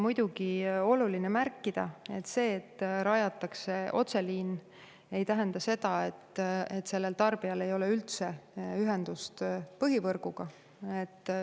Muidugi on oluline märkida: see, et rajatakse otseliin, ei tähenda seda, et tarbijal ei ole üldse ühendust põhivõrguga.